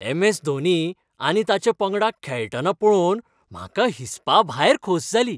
M. S. Dhoni आनी ताच्या पंगडाक खेळटना पळोवन म्हाका हिसपाभायर खोस जाली.